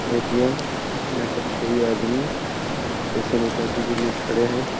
ATM. यहां पर कई आदमी पैसे निकासी के लिए खड़े है।